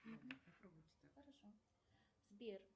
сбер